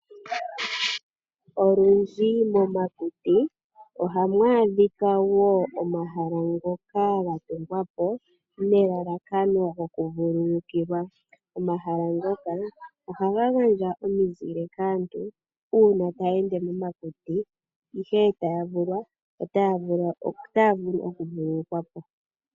Olundji momakuti oha mu adhika wo omahala ngoka ga tungwapo nelalakano gokuvululukilwa. Omahala ngaka oha ga gandja omizile kaantu uuna taya ende momakuti e taya vulwa ota ya vulu okuvululukwapo.